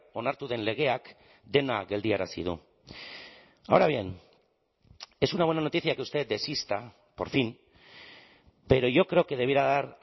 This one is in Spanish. onartu den legeak dena geldiarazi du ahora bien es una buena noticia que usted desista por fin pero yo creo que debiera dar